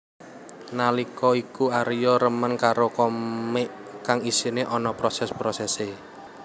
Nallika iku Aria remen karo komik kang isiné ana proses prosesé